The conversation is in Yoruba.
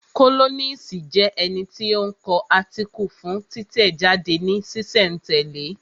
Kólọ́nisi jẹ́ ẹni tí ó ń kọ átíkù fún títẹ̀ jáde ní sísẹ̀ n tẹ̀lẹ́